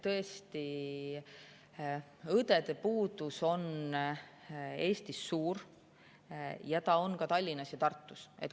Tõesti, õdede puudus on Eestis suur ja nii on see ka Tallinnas ja Tartus.